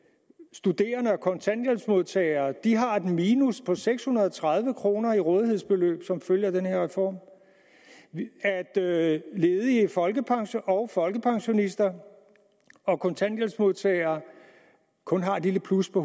studerende og kontanthjælpsmodtagere har et minus på seks hundrede og tredive kroner i rådighedsbeløb som følge af den her reform at at ledige folkepensionister og folkepensionister og kontanthjælpsmodtagere kun har et lille plus på